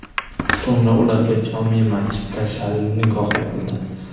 So‘ngra ularga jome’ masjidda shar’iy nikoh o‘qildi.